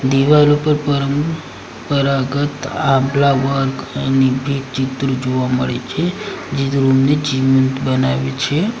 દિવાલ ઉપર પરંપરાગત આભલા વર્ક એની ચિત્ર જોવા મળે છે જે રૂમ ને જીવંત બનાવે છે.